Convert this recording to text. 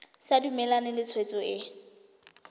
sa dumalane le tshwetso e